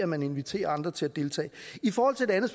man inviterer andre til at deltage i forhold til det andet